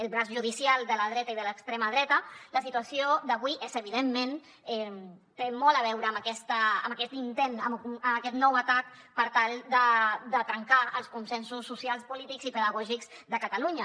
el braç judicial de la dreta i de l’extrema dreta la situació d’avui evidentment té molt a veure amb aquest intent amb aquest nou atac per tal de trencar els consensos socials polítics i pedagògics de catalunya